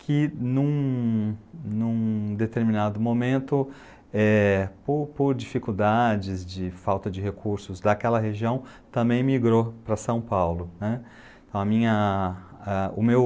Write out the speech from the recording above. que num num determinado momento, eh, por por dificuldades de falta de recursos daquela região, também migrou para São Paulo, né, a minha ah o meu